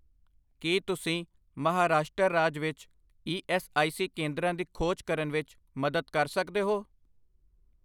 ਕੀ ਤੁਸੀਂ ਮਹਾਰਾਸ਼ਟਰ ਰਾਜ ਵਿੱਚ ਈ ਐੱਸ ਆਈ ਸੀ ਕੇਂਦਰਾਂ ਦੀ ਖੋਜ ਕਰਨ ਵਿੱਚ ਮਦਦ ਕਰ ਸਕਦੇ ਹੋ?